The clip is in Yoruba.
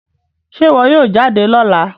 Ṣe iwọ yoo jade lọla?